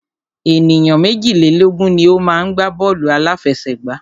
Ènìyàn méjìlélógun ni o má ń gbá bọ́ọ̀lù àláfẹsẹ̀gbá.